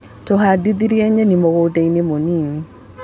Tũhandire nyeni mũgundainĩ mũnini.